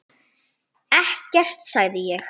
Ekkert sagði ég.